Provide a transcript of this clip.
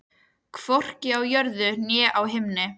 Hvorki á jörðu né á himni.